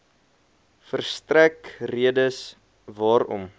verstrek redes waarom